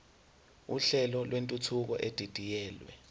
uhlelo lwentuthuko edidiyelwe